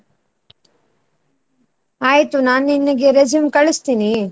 ಆಯ್ತು ನಾನ್ ನಿನ್ನ್ಗೆ resume ಕಳ್ಸ್ತೀನಿ.